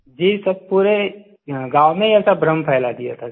जी sir पूरे गाँव में ऐसा भ्रम फैला दिया था सर